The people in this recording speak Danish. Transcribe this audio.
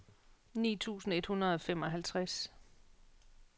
ni tusind et hundrede og femoghalvtreds